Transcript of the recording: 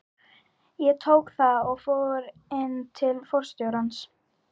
Ég tók það og fór inn til forstjórans.